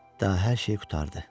Daha hər şey qurtardı.